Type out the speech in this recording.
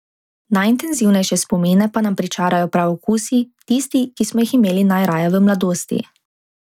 Najintenzivnejše spomine pa nam pričarajo prav okusi, tisti, ki smo jih imeli najraje v mladosti.